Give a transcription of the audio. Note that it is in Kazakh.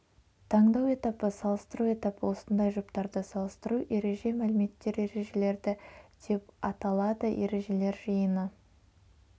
таңдау этапы салыстыру этапы осындай жұптарды салыстыру ереже мәліметтер ережелерді деп аталады ережелер жиыны